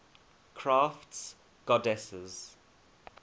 crafts goddesses